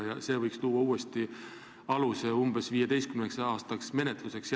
Ja see võiks anda alust uuesti umbes 15 aasta pikkuseks menetluseks.